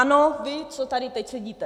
Ano, vy, co tady teď sedíte.